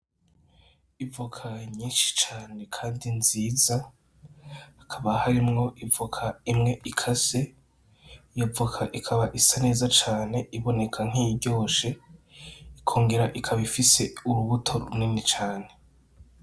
Ivoka nyinshi cane kandi nziza , hakaba harimwo ivoka imwe ikase , iyo voka ikaba isa neza cane iboneka nkiyiryoshe , ikongera ikaba ifise urubuto runini cane.